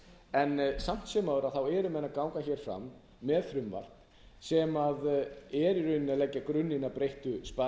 en samt sem áður eru menn að ganga hér fram með frumvarp sem er í rauninni að leggja grunninn að breyttu sparisjóðaumhverfi